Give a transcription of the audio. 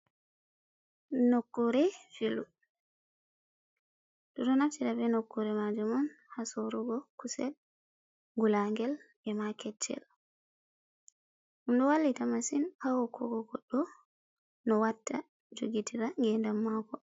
"Nokkure filu ɓeɗo naftira ɓe nokkure majum on ha sorugo kusel ngulagel ema kecchel ɗum ɗo wallita masin ha hokkugo goɗɗo no watta jogitira ngedam mako.